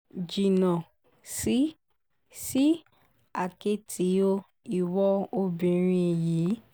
jìnnà sí sí àkẹ́tì o ìwo obìnrin yìí